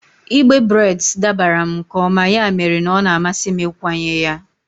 Igbe breds dabara m nke ọma, ya mere na ọ na-amasị m ịkwanye ya.